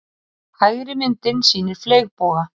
Hægri myndin sýnir fleygboga.